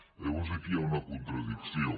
llavors aquí hi ha una contradicció